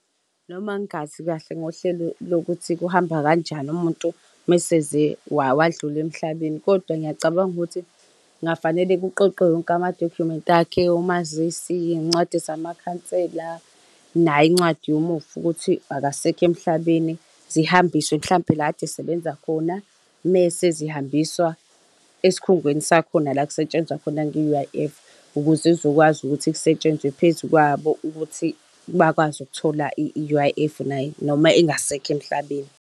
Noma ngingazi kahle ngohlelo lokuthi kuhamba kanjani, umuntu uma eseze wadlula emhlabeni, kodwa ngiyacabanga ukuthi kungafanele kuqoqwe wonke amadokhumenti akhe, umazisi, iy'ncwadi zamakhansela, nayo incwadi yomufi ukuthi akasekho emhlabeni. Zihambiswe mhlampe la kade esebenza khona. Mese zihambiswa esikhungweni sakhona la kusetshenzwa khona nge-U_I_F. Ukuze kuzokwazi ukuthi kusetshenzwe phezu kwabo ukuthi bakwazi ukuthola i-U_I_F, noma engasekho emhlabeni.